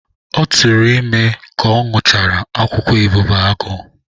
Ọ tụrụ ime ka ọ ñụchara akwụkwọ ebubeagụ.